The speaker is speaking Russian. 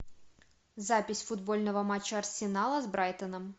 запись футбольного матча арсенала с брайтоном